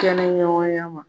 Kɛnɛ ɲɔgɔnya ma